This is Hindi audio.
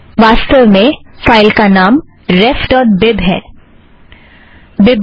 वास्तव में फ़ाइल का नाम रेफ़ ड़ॉट बीब refबीब है